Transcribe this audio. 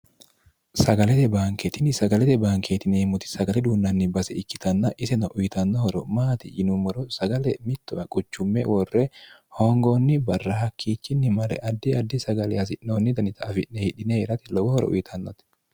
sagalete baankeetini sagalete baankeeti yineemmoti sagale duunnanni base ikkitanna iseno uyitannohoro maati yinummoro sagale mittowa quchumme worre hoongoonni barra hakkiichinni mare addi addi sagale hasi'noonnita danini afi'ne hidhine itate lowo horo uyitannote